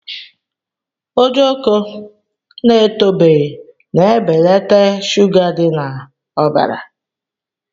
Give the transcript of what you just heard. Ojoko na-etobeghị na-ebelata shuga idi na ọbara.